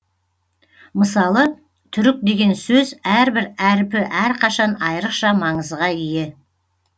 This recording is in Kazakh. мысалы түрік деген сөз әрбір әріпі әрқашан айрықша маңызға ие